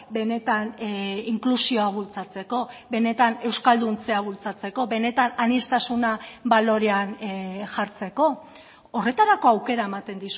benetan inklusioa bultzatzeko benetan euskalduntzea bultzatzeko benetan aniztasuna balorean jartzeko horretarako aukera ematen